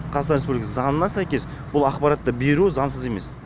қазақстан республикасының заңына сәйкес бұл ақпаратты беру заңсыз емес